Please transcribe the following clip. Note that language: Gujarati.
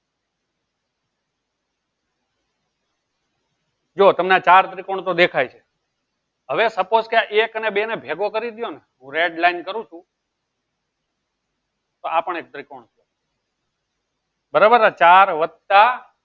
જો તમને આ ચાર ત્રીકોનો તો દેખાય છે હવે suppose એક ને બે ને ભેગો કરી દુ છું redline કરું છું બરાબર આ ચાર વત્તા